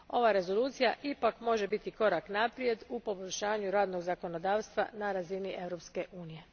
Ova Rezolucija ipak može biti korak naprijed u poboljšanju radnog zakonodavstva na razini Europske unije.